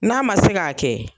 N'a ma se k'a kɛ